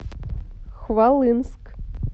хвалынск